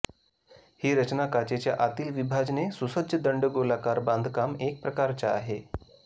ही रचना काचेच्या आतील विभाजने सुसज्ज दंडगोलाकार बांधकाम एक प्रकारचा आहे